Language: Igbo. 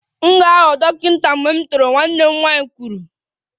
M ga-aghọ dọkịta mgbe m toro, nwanne m nwanyị kwuru